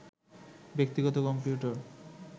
ব্যক্তিগত কম্পিউটার